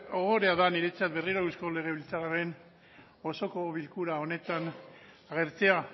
ohorea da niretzat berriro eusko legebiltzarraren osoko bilkura honetan agertzea